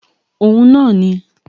Òhun náà ni